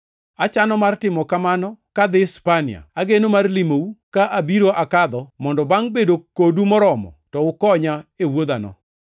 achano mar timo kamano kadhi Spania. Ageno mar limou ka abiro akadho mondo bangʼ bedo kodu moromo to ukonya e wuodhano.